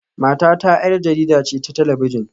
Matata 'yar jarida ce ta talabijin